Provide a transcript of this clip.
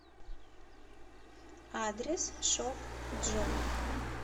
адрес шоп джой